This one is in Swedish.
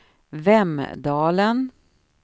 Vemdalen